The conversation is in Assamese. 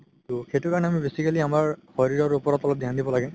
সেইটো কাৰণে basically আমাৰ শৰিৰৰ ওপৰত অলপ ধিয়ান দিব লাগে